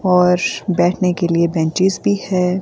और बैठने के लिए बेंचेस भी है।